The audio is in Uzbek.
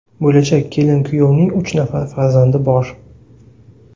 Bo‘lajak kelin-kuyovning uch nafar farzandi bor.